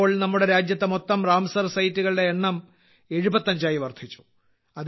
ഇപ്പോൾ നമ്മുടെ രാജ്യത്തെ മൊത്തം റാംസർ സൈറ്റുകളുടെ എണ്ണം 75 ആയി വർദ്ധിച്ചു